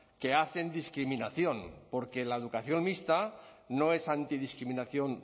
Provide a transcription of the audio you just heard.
que hacen discriminación porque la educación mixta no es antidiscriminación